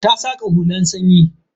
Ta saka hulan sanyi.